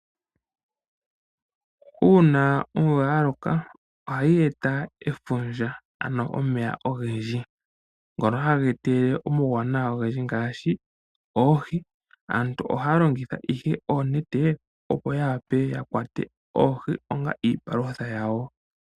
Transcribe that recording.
Uuna omvula ya loka ohayi eta efundja, ano omeya ogendji ngono haga etelele omawuwanawa ogendji ngaashi oohi. Aantu ohaya longitha ihe oonete opo ya wape ya kwate oohi onga iipalutha yawo.